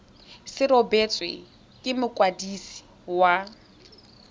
se rebotswe ke mokwadisi wa